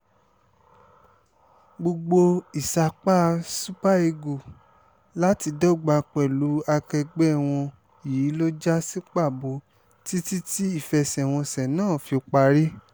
gbogbo ìsapá super eagles láti dọ́gba pẹ̀lú akẹgbẹ́ wọn yìí ló já sí pàbó títí tí ìfẹsẹ̀wọnsẹ̀ náà fi parí